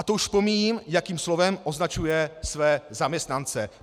A to už pomíjím, jakým slovem označuje své zaměstnance.